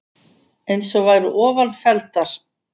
eins og væru ofan felldar